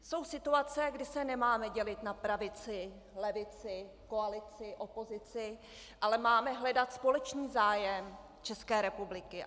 Jsou situace, kdy se nemáme dělit na pravici - levici, koalici - opozici, ale máme hledat společný zájem České republiky.